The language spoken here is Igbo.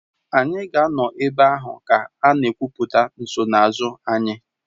Anyị ga-anọ ebe ahụ ka a na-ekwupụta nsonaazụ anyị